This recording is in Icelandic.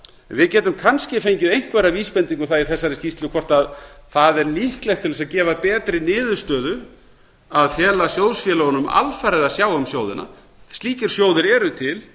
við getum kannski fengið einhverja vísbendingu um það í þessari skýrslu hvort það er líklegt til þess að gefa betri niðurstöðu að fela sjóðfélögunum alfarið að sjá um sjóðina slíkir sjóðir eru til